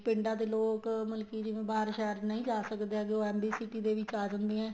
ਪਿੰਡਾਂ ਦੇ ਲੋਕ ਮਤਲਬ ਕੀ ਜਿਵੇਂ ਬਾਹਰ ਸ਼ਹਿਰ ਨਹੀਂ ਜਾ ਸਕਦੇ ਹੈਗੇ ਉਹ MB city ਦੇ ਵਿੱਚ ਆ ਜਾਂਦੇ ਏ